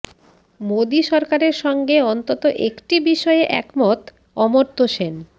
মোদী সরকারের সঙ্গে অন্তত একটি বিষয়ে একমত অমর্ত্য সেন